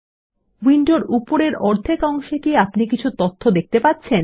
উইন্ডোর উপরের অর্ধেক অংশে কি আপনি কিছু তথ্য দেখতে পাচ্ছেন